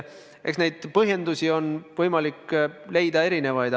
Eks põhjendusi on võimalik leida erinevaid.